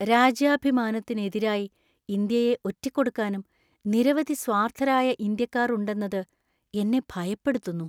രാജ്യാഭിമാനത്തിനു എതിരായി ഇന്ത്യയെ ഒറ്റിക്കൊടുക്കാനും നിരവധി സ്വാര്‍ത്ഥരായ ഇന്ത്യക്കാർ ഉണ്ടെന്നത് എന്നെ ഭയപ്പെടുത്തുന്നു.